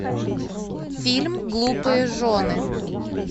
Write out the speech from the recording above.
фильм глупые жены